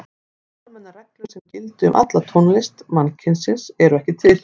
En almennar reglur sem gildi um alla tónlist mannkynsins eru ekki til.